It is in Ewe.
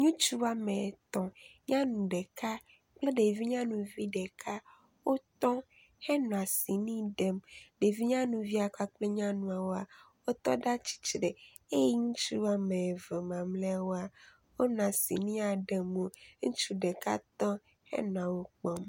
ŋutsu ametɔ̃ nyanu ɖeka kple ɖevi nyanuvi ɖeka wótɔ henɔ cini ɖem ɖevi nyanuvia kple nyanuawoa wótɔ ɖa tsitre eye ŋutsu wɔmeve mamliawoa wótɔ ɖa tsitre henɔ cinia kpɔm